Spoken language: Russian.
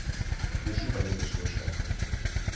включи побег из шоушенка